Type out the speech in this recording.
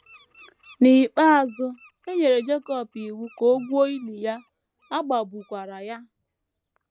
N’ikpeazụ, e nyere Jacob iwu ka o gwuo ili ya, a gbagbukwara ya.